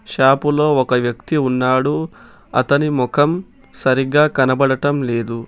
Shop లో ఒక వ్యక్తి ఉన్నాడు అతని ముఖం సరిగ్గా కనబడటం లేదు.